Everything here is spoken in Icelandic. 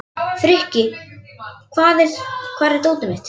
Frikki, hvar er dótið mitt?